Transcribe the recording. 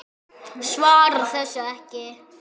Svarar þessu ekki.